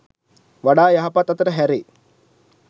වඩා යහපත් අතට හැරේ.